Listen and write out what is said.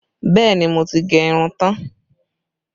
Bẹẹ ni, mo ti gẹ irun tán